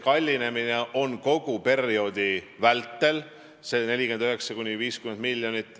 Kallinemine kogu perioodi vältel on 49–50 miljonit.